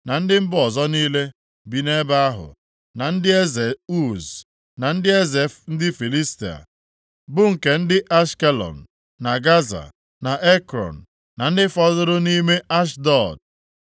na ndị mba ọzọ niile bi nʼebe ahụ; na ndị eze Uz; na ndị eze ndị Filistia niile, bụ nke ndị Ashkelọn, na Gaza, na Ekrọn, na ndị fọdụrụ nʼime Ashdọd.